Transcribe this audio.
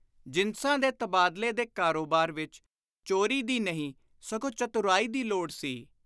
ਜਿਨਸਾਂ ਦੇ ਤਬਾਦਲੇ ਦੇ ਕਾਰੋਬਾਰ ਵਿਚ ਚੋਰੀ ਦੀ ਨਹੀਂ, ਸਗੋਂ ਚਤੁਰਾਈ ਦੀ ਲੋੜ ਸੀ।